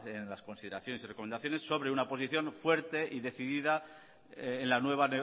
en las consideraciones y recomendaciones sobre una posición fuerte y decidida en la nueva